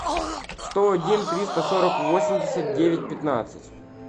сто один триста сорок восемьдесят девять пятнадцать